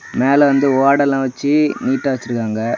மேல வந்து ஓடு எல்லாம் வெச்சி நீட்டா வெச்சிருக்காங்க.